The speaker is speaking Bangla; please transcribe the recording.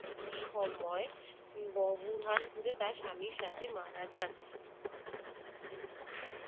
সময় ভবহানপুরে তার স্বামীর সাথে মারা যান।